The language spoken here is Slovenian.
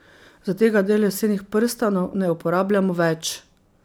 Zategadelj lesenih prstanov ne uporabljamo več.